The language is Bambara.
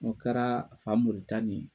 O kɛra Famori ta ni